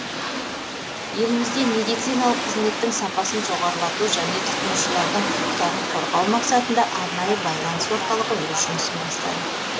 елімізде медициналық қызметтің сапасын жоғарылату және тұтынушылардың құқықтарын қорғау мақсатында арнайы байланыс орталығы өз жұмысын бастады